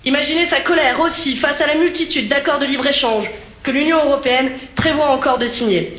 Imaginez sa colère, aussi, face à la multitude d'accords de libre-échange que l'Union européenne prévoit encore de signer.